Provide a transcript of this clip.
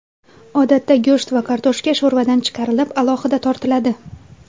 Odatda go‘sht va kartoshka sho‘rvadan chiqarilib, alohida tortiladi.